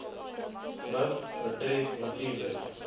miv betref natuurlik